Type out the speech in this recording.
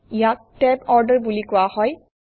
ইয়াক tab order বুলি কোৱা হয়